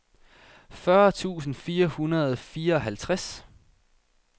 fyrre tusind fire hundrede og fireoghalvtreds